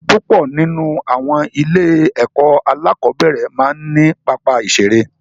Púpọ̀ nínú àwọn ilé-ẹ̀kọ́ alákọ̀ọ́nbẹ̀rẹ̀ máa ń ní pápá ìṣeré.